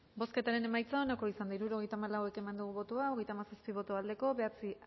bozketaren emaitza onako izan da hirurogeita hamalau eman dugu bozka hogeita hamazazpi boto aldekoa bederatzi